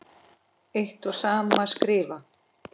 eitt og sama skrifa